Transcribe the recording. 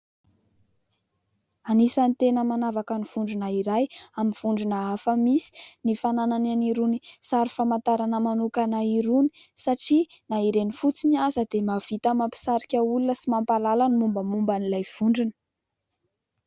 Anisan'ny tena manavaka ny vondrona iray amin'ny vondrona hafa misy ny fananany an'irony sary famantarana manokana irony, satria na ireny fotsiny aza dia mahavita mampisarika olona sy mampahalala ny mombamomban'ilay vondrona.